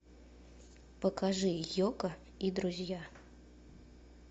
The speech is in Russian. покажи йоко и друзья